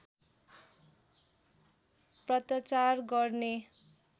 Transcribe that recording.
पत्राचार गर्ने